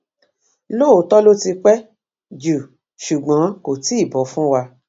lóòótọ ló ti pẹ jù ṣùgbọn kò tí ì bọ fún wa